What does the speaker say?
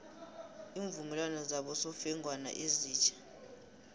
iimvumelwano zabosofengwana ezitja